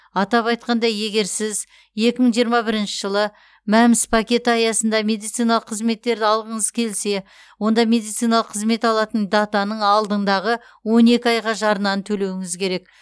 атап айтқанда егер сіз екі мың жиырма бірінші жылы мәмс пакеті аясында медициналық қызметтерді алғыңыз келсе онда медициналық қызмет алатын датаның алдындағы он екі айға жарнаны төлеуіңіз керек